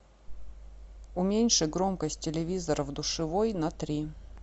уменьши громкость телевизора в душевой на три